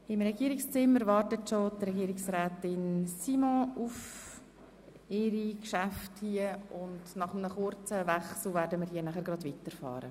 Im Regierungszimmer wartet bereits Regierungsrätin Simon auf die Behandlung ihrer Geschäfte.